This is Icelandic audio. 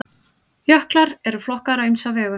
Jöklar eru flokkaðir á ýmsa vegu.